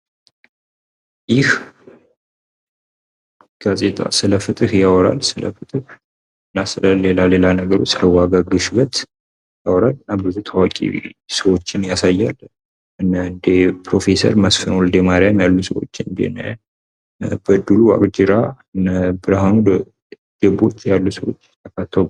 ይህ ጋዜጣ ስለፍትህ ያወራል ስለ ፍትህ እና ስለሌላ ሌላ ነገሮች ዋጋ ግሽበት ያወራል እና ብዙ ታዋቂ ሰዎችን ያሳያል እንደ ፕሮፌሰር መስፍን ወልደማርያም ያሉ ሰዎችን እንደነ በድሉ ዋቅጅራ እንደ ብርሃኑ ደቦት ያሉ ሰዎች ተካተዋል::